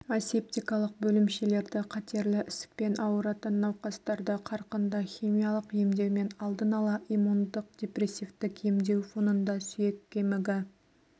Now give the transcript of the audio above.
асептикалық бөлімшелерді қатерлі ісікпен ауыратын науқастарды қарқынды химиялық емдеумен алдын ала иммундық-депрессивтік емдеу фонында сүйек кемігі